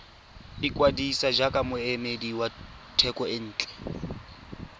ikwadisa jaaka moemedi wa thekontle